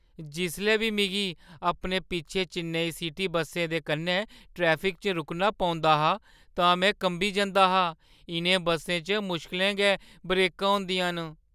जिसलै बी मिगी अपने पिच्छें चेन्नई सिटी बस्सै दे कन्नै ट्रैफिक च रुकना पौंदा हा तां में कंबी जंदा हा। इ'नें बस्सें च मुश्कलें गै ब्रेकां होंदियां न।